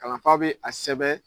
Kalanfa bɛ a sɛbɛn